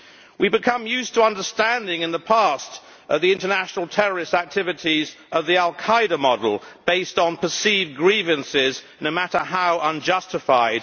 We became used to understanding, in the past, international terrorist activities of the al Qaida model, based on perceived grievances, no matter how unjustified.